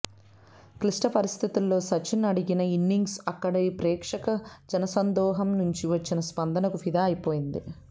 క్లిష్ట పరిస్థితుల్లో సచిన్ ఆడిన ఇన్నింగ్స్కు అక్కడి ప్రేక్షక జనసందోహం నుంచి వచ్చిన స్పందనకు ఫిదా అయిపోయింది